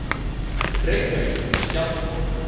Reykjavík, Skjaldborg.